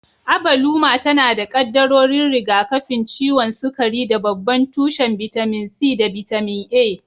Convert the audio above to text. Abaluma tana da kaddarorin rigakafin ciwon sukari da babban tushen bitamin C da bitamin A.